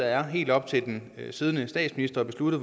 er helt op til den siddende statsminister at beslutte